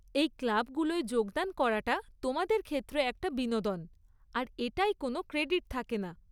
এই ক্লাবগুলোয় যোগদান করাটা তোমাদের ক্ষেত্রে একটা বিনোদন, আর এটায় কোন ক্রেডিট থাকে না।